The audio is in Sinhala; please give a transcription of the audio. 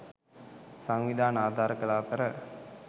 සංවිධාන ආධාර කළ අතර